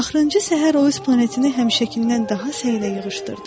Axırıncı səhər o öz planetini həmişəkindən daha səylə yığışdırdı.